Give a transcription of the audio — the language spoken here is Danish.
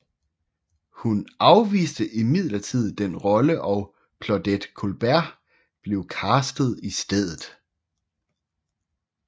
Hun afviste imidlertid den rolle og Claudette Colbert blev castet i stedet